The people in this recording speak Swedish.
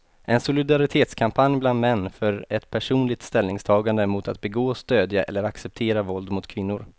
En solidaritetskampanj bland män för ett personligt ställningstagande mot att begå, stödja eller acceptera våld mot kvinnor.